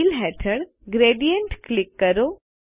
fill હેઠળ gradient click કરો